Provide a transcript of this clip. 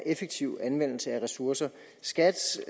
effektiv anvendelse af ressourcer skats